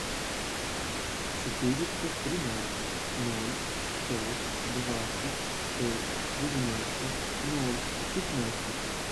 четыреста тринадцать ноль сто двадцать шесть девяносто ноль пятнадцать